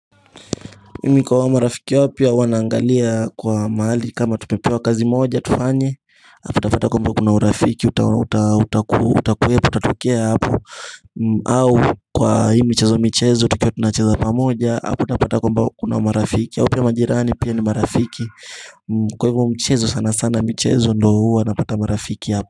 Mimi kwa hao marafiki wapya huwa naangalia kwa mahali kama tumepewa kazi moja tufanye utapata kwamba kuna urafiki utatokea hapo au kwa hii michezo michezo tukiwa tunacheza pamoja hapo utapata kwamba kuna marafiki hapo, ya majirani pia ni marafiki kwa hivyo mchezo sana sana mchezo ndio huwa napata marafiki hapo.